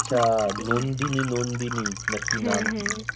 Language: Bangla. আচ্ছা নন্দিনী নন্দিনী না কি নাম